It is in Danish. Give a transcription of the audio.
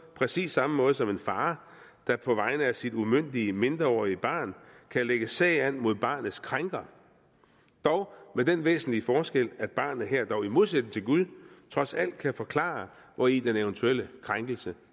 præcis samme måde som en far der på vegne af sit umyndige mindreårige barn kan lægge sag an mod barnets krænker dog med den væsentlige forskel at barnet her i modsætning til gud trods alt kan forklare hvori den eventuelle krænkelse